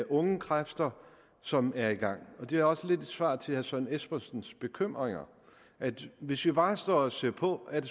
unge kræfter som er i gang det er også lidt et svar herre søren espersens bekymringer hvis vi bare står og ser på er